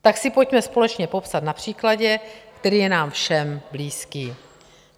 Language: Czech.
Tak si pojďme společně popsat na příkladě, který je nám všem blízký.